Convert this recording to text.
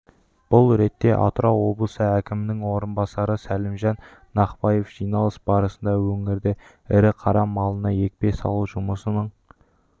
бұл ретте атырау облысы әкімінің орынбасары сәлімжан нақпаев жиналыс барысында өңірде ірі-қара малына екпе салу жұмысының